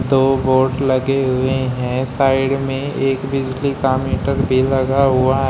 दो बोर्ड लगे हुए हैं साइड में एक बिजली का मीटर भी लगा हुआ --